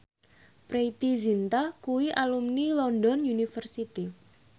Preity Zinta kuwi alumni London University